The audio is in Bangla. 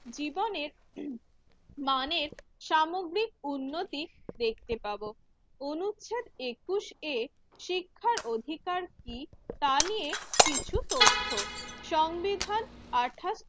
জীবনের মানের সামগ্রিক উন্নতি দেখতে পাবো। অনুচ্ছেদ একুশ এ শিক্ষার অধিকার কি তা নিয়ে কিছু তথ্য, সংবিধানে আঠা